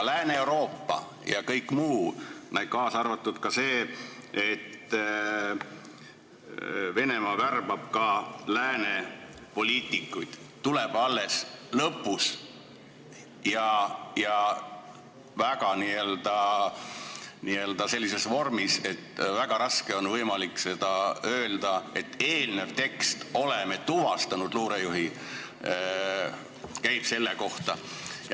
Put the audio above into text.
Lääne-Euroopa ja kõik muu, kaasa arvatud see, et Venemaa värbab ka lääne poliitikuid, tuleb alles lõpus ja sellises vormis, et väga raske on öelda, et eelnev tekst "oleme tuvastanud luurejuhi" käib selle kohta.